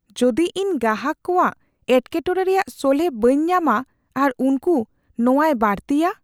ᱡᱚᱫᱤ ᱤᱧ ᱜᱟᱦᱟᱠ ᱠᱚᱣᱟᱜ ᱮᱴᱠᱮᱴᱚᱬᱮ ᱨᱮᱭᱟᱜ ᱥᱚᱞᱦᱮ ᱵᱟᱹᱧ ᱧᱟᱢᱟ ᱟᱨ ᱩᱱᱠᱩ ᱱᱚᱣᱟᱭ ᱵᱟᱹᱲᱛᱤᱭᱟ?